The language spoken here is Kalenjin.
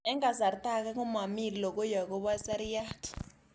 Eng' kasarta ag'e komami lokoi akopo seriat